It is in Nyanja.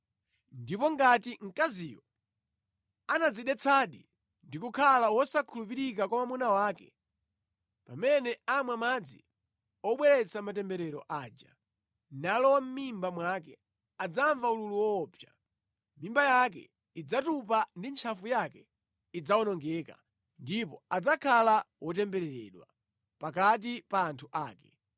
Ndipo ngati mkaziyo anadzidetsadi ndi kukhala wosakhulupirika kwa mwamuna wake, pamene amwa madzi obweretsa matemberero aja, nalowa mʼmimba mwake, adzamva ululu woopsa. Mimba yake idzatupa ndi ntchafu yake idzawonongeka ndipo adzakhala wotembereredwa pakati pa anthu ake.